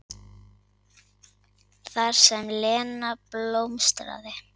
Þar sem Lena blómstraði.